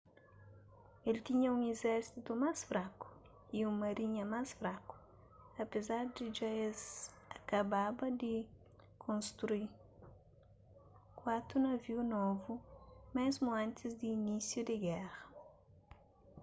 el tinha un izérsitu más fraku y un marinha más fraku apézar di dja es akababa di konstrui kuatu naviu novu mésmu antis di inísiu di géra